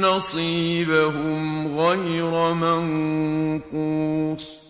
نَصِيبَهُمْ غَيْرَ مَنقُوصٍ